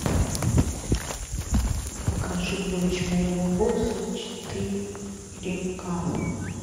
покажи дочь моего босса четыре ка